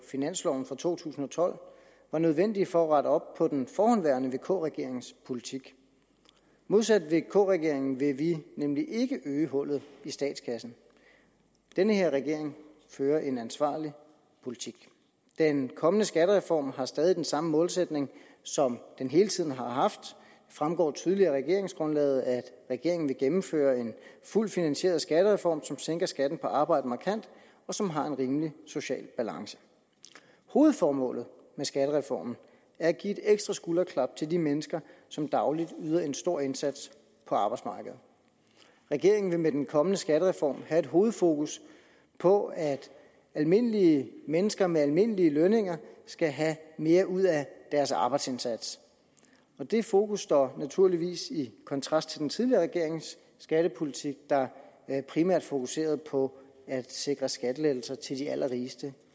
finansloven for to tusind og tolv var nødvendige for at rette op på den forhenværende vk regerings politik modsat vk regeringen vil vi nemlig ikke øge hullet i statskassen den her regering fører en ansvarlig politik den kommende skattereform har stadig den samme målsætning som den hele tiden har haft det fremgår tydeligt af regeringsgrundlaget at regeringen vil gennemføre en fuldt finansieret skattereform som sænker skatten på arbejde markant og som har en rimelig social balance hovedformålet med skattereformen er at give et ekstra skulderklap til de mennesker som dagligt yder en stor indsats på arbejdsmarkedet regeringen vil med den kommende skattereform have et hovedfokus på at almindelige mennesker med almindelige lønninger skal have mere ud af deres arbejdsindsats det fokus står naturligvis i kontrast til den tidligere regerings skattepolitik der primært fokuserede på at sikre skattelettelser til de allerrigeste